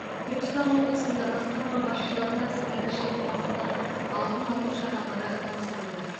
түркістан облысында басқарма басшыларына сыбайлас жемқорлықтың алдын алу шаралары тапсырылды